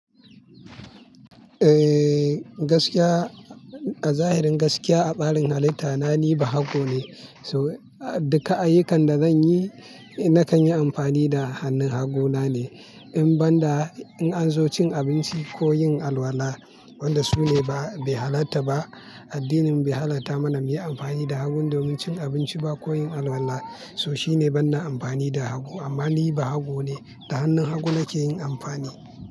Eh, gaskiya a zahirin gaskiya a tsarin halitta na ni bahago ne. So a duka ayyukan da zanyi nakan yi amfani da hannun haguna ne. In banda in an zo cin abinci ko yin alwala, wanda su ne ba, bai halatta ba. Addinin bai halatta mana muyi amfani da hagu domin cin abinci ba ko yin alwala. To shine ban na amfani da hagu. Amma ni bahago ne, a hannun hagu nake yin amfani.